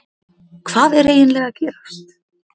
Hvað er eiginlega að gerast?